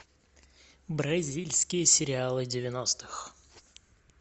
бразильские сериалы девяностых